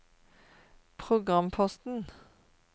programposten